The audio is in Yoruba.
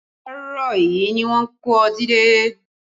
Àárọ̀ yìí ni wón kó ọtí dé